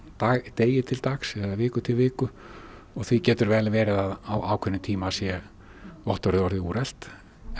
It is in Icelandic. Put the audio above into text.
degi til dags eða viku til viku og því getur vel verið að á ákveðnum tíma sé vottorðið orðið úrelt